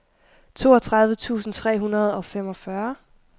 toogtredive tusind tre hundrede og femogfyrre